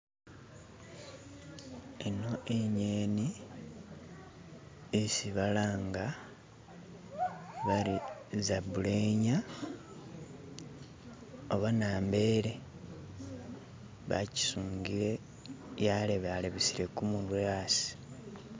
Eno inyeni yesi balanga bati isabulenya oba nambeele bagisungile yalebalebesele gumutwe yasi